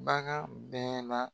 Bagan bɛɛ la